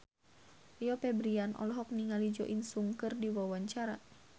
Rio Febrian olohok ningali Jo In Sung keur diwawancara